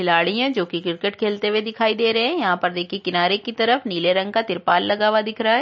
खिलाड़ी है जो की क्रिकेट खेलते हुए दिखाई दे रहै हैं यहाँ पर देखिए किनारे की तरफ नीले रंग का तिरपाल लगा हुआ दिखाई दे रहा है।